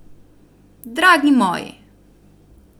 Dragi moji!